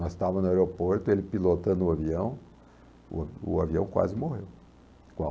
Nós estávamos no aeroporto, ele pilotando o avião, o avião quase morreu. Qual